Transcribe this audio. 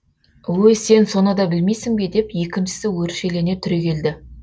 өй сен соны да білмейсің бе деп екіншісі өршелене түрегелді